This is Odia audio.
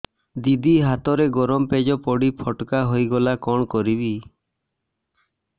ଦିଦି ହାତରେ ଗରମ ପେଜ ପଡି ଫୋଟକା ହୋଇଗଲା କଣ କରିବି